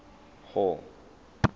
hall